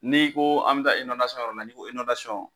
N'i ko an be ta inɔndasɔn yɔrɔ la ni ko inɔndasɔn